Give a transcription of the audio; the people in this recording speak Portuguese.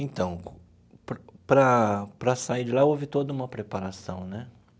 Então, para para sair de lá, houve toda uma preparação, né?